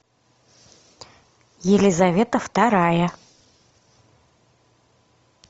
елизавета вторая